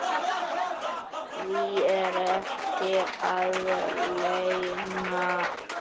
Því er ekki að leyna.